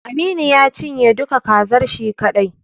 Aminu ya cinye duka kazar shi kaɗai.